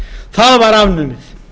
það var afnumið